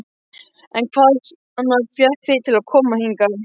En hvað fékk þig til að koma hingað?